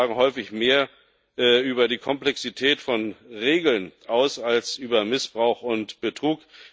Fehler sagen häufig mehr über die Komplexität von Regeln aus als über Missbrauch und Betrug.